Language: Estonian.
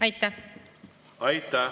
Aitäh!